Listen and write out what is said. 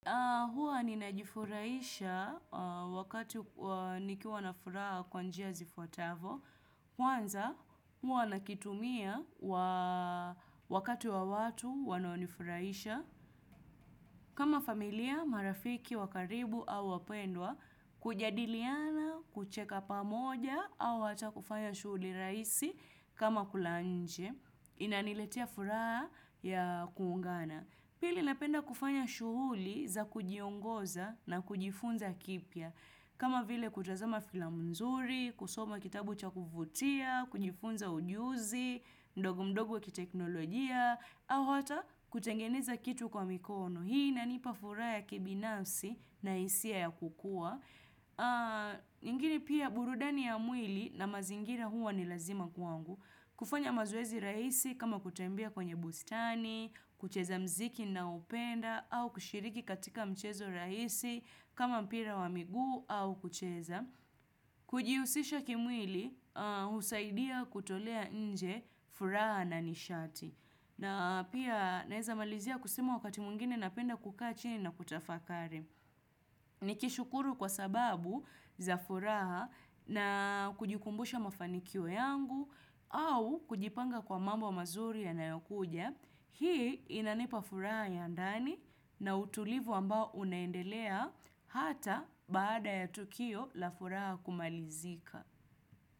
HHwa ninajifurahisha wakati nikiwa na furaha kwa njia zifuatavyo. Kwanza, huwa nakitumia wakati wa watu wanaonifurahisha. Kama familia, marafiki wa karibu au wapendwa, kujadiliana, kucheka pamoja, au hata kufanya shughuli rahisi kama kula nje. Inaniletea furaha ya kuungana. Pili napenda kufanya shuhuli za kujiongoza na kujifunza kipya. Kama vile kutazama filamu nzuri, kusoma kitabu cha kuvutia, kujifunza ujuzi mdogo mdogo wa kiteknolojia, au hata kutengeneza kitu kwa mikono hii inanipa furaha ya kibinafsi na hisia ya kukua. Lakini pia burudani ya mwili na mazingira huwa ni lazima kwangu. Kufanya mazoezi rahisi kama kutembea kwenye bustani, kucheza muziki ninaoupenda, au kushiriki katika mchezo rahisi kama mpira wa miguu au kucheza. Kujihusisha kimwili, husaidia kutolea nje furaha na nishati. Na pia naweza malizia kusema wakati mwingine napenda kukaa chini na kutafakari. Nikishukuru kwa sababu za furaha na kujikumbusha mafanikio yangu au kujipanga kwa mambo mazuri yanayokuja, hii inanipa furaha ya ndani na utulivu ambao unaendelea hata baada ya tukio la furaha kumalizika.